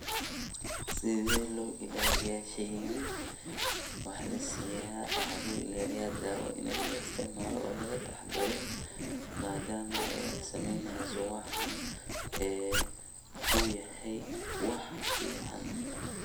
Sethi lo ilaliyah sheeygan waxa lo ilaliyah dawoo ini la isticmaloh lagataxadaroh madama Aya sameeyneyso waxan oo yahay wax fican .